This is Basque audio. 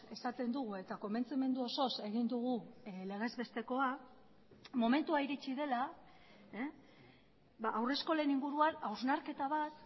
esaten dugu eta konbentzimendu osoz egin dugu legez bestekoa momentua iritsi dela haurreskolen inguruan hausnarketa bat